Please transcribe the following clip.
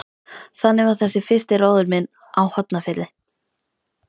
Þannig var þessi fyrsti róður minn á Hornafirði.